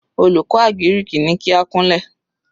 Olùkọ́ àgíríkì ní kí á kúnlẹ̀.